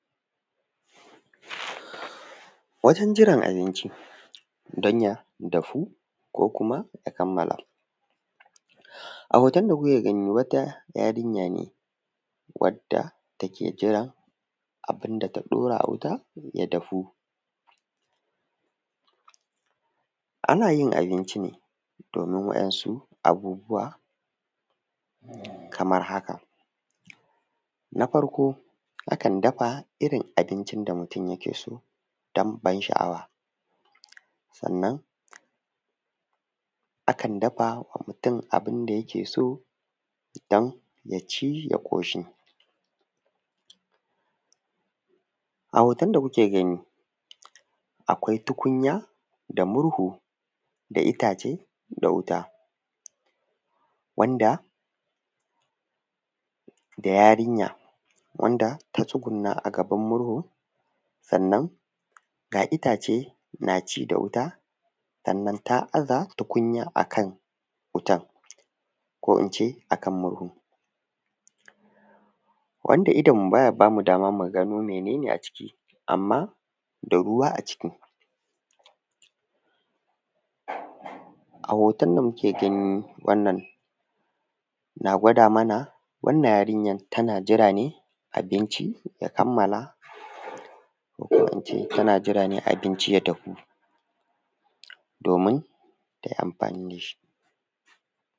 Wajen jiran abinci don ya dafu ko kuma ya kamala. A hoton da kuke gani wata yarinya ne wadda take jira abin da ta ɗaura a wuta ya dafu. Ana yin abinci ne domin waɗansu abubuwa kamar haka: Na farko akan dafa irin abincin da mutum yake so dan ban sha’awa, sannan akan dafa ma mutum abin da yake so dan ya ci ya ƙoshi. A hoton da kuke gani, akwai tukunya da murhu da itace da wuta, wanda da yarinya, wanda ta tsuguna a gaban murhu sannan ga itace na ci da wuta, sannan ta aza tukunya akan wutan ko ince akan wutan ko ince murhun, wanda idonmu ba ya bamu dama mu gano mene ne aciki, amma da ruwa aciki. A hoton da muke gani wannan na gwada mana wannan yarinya tana jira ne abinci ya kamala ko ince tana jira ne abinci ya dahu, domin ta yi amfani da shi.